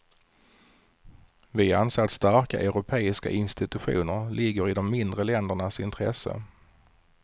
Vi anser att starka europeiska institutioner ligger i de mindre ländernas intresse.